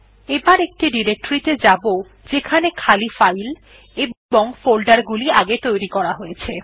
এবার একটি ডিরেকটরি ত়ে যাব যেখানে খালি ফাইল এবং ফোল্ডার গুলি আগে তৈরী করা হয়েছে